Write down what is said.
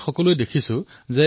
আমি সকলোৱে দেখা পাইছোঁ